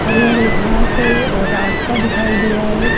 हरी हरी घास है और रास्ता दिखाई दे रहा है।